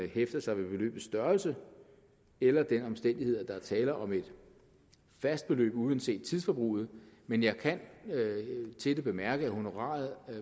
hæfter sig ved beløbets størrelse eller ved den omstændighed at der er tale om et fast beløb uanset tidsforbruget men jeg kan til det bemærke at honoraret